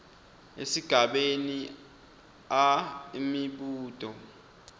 esigabeni a imibuto